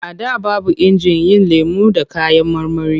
A da babu injin yin lemo da kayan marmari.